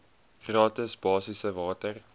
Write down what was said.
gratis basiese water